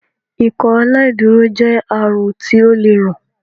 Ikọaláìdúró jé àrùn ti ọ lẹ rán